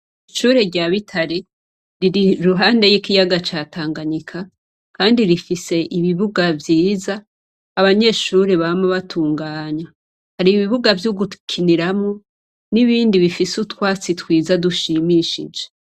Ishure rya Bitare riri iruhande y'ikiyaga ca Tanganyika kandi rifise ibibuga vyiza abanyeshure bama batunganya. Hari ibibuga vy'ugukiniramwo n'ibindi bifise utwatsi twiza dushimishije.